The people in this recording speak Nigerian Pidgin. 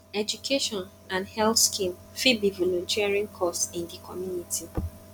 education and health scheme fit be volunteering cause in di community